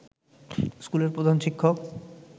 স্কুলের প্রধান শিক্ষক